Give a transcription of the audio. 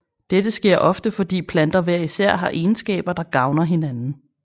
Dette sker ofte fordi planter hver især har egenskaber der gavner hinanden